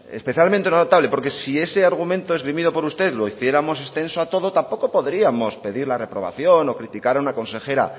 especialmente notable porque si ese argumento esgrimido por usted lo hiciéramos extenso a todo tampoco podríamos pedir la reprobación o criticar a una consejera